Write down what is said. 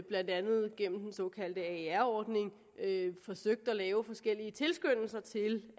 blandt andet gennem den såkaldte aer ordning forsøgt at lave forskellige tilskyndelser til